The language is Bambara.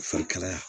Fari kalaya